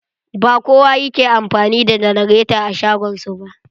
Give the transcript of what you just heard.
Ba kowa yake amfani da janareta a shagon su ba.